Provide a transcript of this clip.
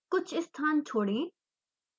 कुछ स्थान छोड़ें